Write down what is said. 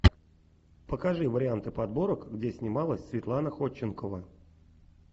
покажи варианты подборок где снималась светлана ходченкова